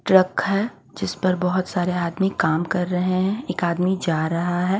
Truck है जिस पर बहोत सारे आदमी काम कर रहे हैं एक आदमी जा रहा हैं।